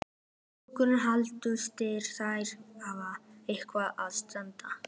Hugrún Halldórsdóttir: Fær þetta eitthvað að standa?